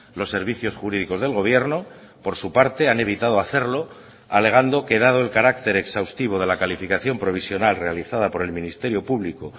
los servicios jurídicos del gobierno por su parte han evitado hacerlo alegando que dado el carácter exhaustivo de la calificación provisional realizada por el ministerio público